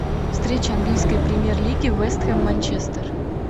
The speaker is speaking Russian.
встреча английской премьер лиги вест хэм манчестер